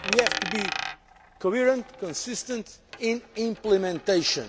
We have to be coherent and consistent in implementation.